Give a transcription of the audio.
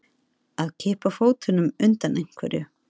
Að kippa fótunum undan einhverju